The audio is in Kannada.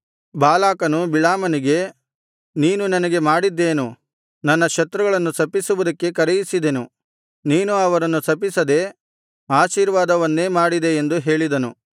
ಬಾಲಾಕನು ಬಿಳಾಮನಿಗೆ ನೀನು ನನಗೆ ಮಾಡಿದ್ದೇನು ನನ್ನ ಶತ್ರುಗಳನ್ನು ಶಪಿಸುವುದಕ್ಕೆ ಕರೆಯಿಸಿದೆನು ನೀನು ಅವರನ್ನು ಶಪಿಸದೆ ಆಶೀರ್ವಾದವನ್ನೇ ಮಾಡಿದೆ ಎಂದು ಹೇಳಿದನು